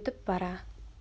өтіп бара